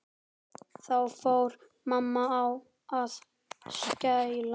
Þá fór mamma að skæla.